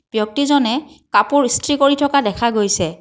ব্যক্তি জনে কাপোৰ ইছত্ৰি কৰি থকা দেখা গৈছে।